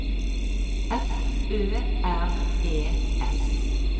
F Ø R E S